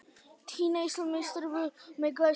Tinna Íslandsmeistari með glæsibrag